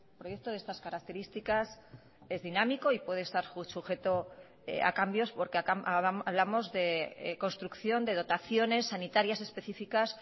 proyecto de estas características es dinámico y puede estar sujeto a cambios porque hablamos de construcción de dotaciones sanitarias específicas